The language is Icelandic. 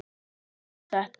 Þú veist þetta.